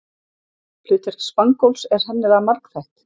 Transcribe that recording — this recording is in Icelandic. hlutverk spangóls er sennilega margþætt